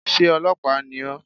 Sé ọlọ́pàá ni ó?